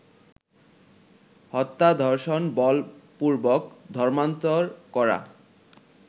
হত্যা, ধর্ষণ, বলপূর্বক ধর্মান্তর করা